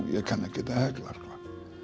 ég kann ekkert að hekla sko